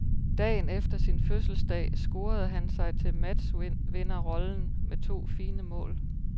Dagen efter sin fødselsdag scorede han sig til matchvinderrollen med to fine mål.